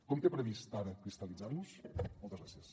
com té previst ara cristal·litzar los moltes gràcies